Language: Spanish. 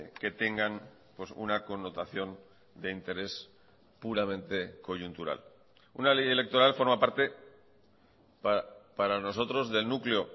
que tengan una connotación de interés puramente coyuntural una ley electoral forma parte para nosotros del núcleo